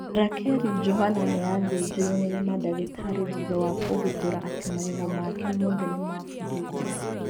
Rakeri Johana nĩ athĩnjirwo nĩ madagĩtari thutha wa kũgutũra atĩ magego make mothe nĩ mabuthute.